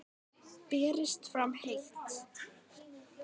Berist fram heitt.